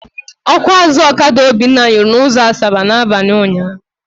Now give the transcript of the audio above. Ọkụ azụ ọkada Obinna nyụrụ n'ụzọ Asaba n'abalị ụnyaahụ.